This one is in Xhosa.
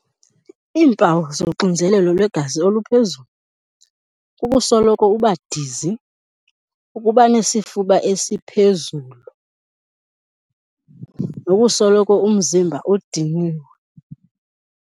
Iimpawu zoxinzelelo lwegazi oluphezulu kukusoloko uba dizi, ukuba nesifuba esiphezulu nokusoloko umzimba udiniwe.